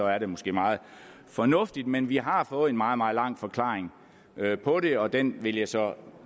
er det måske meget fornuftigt men vi har fået en meget meget lang forklaring på det og den vil jeg så